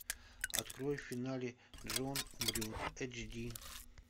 открой в финале джон умрет эйч ди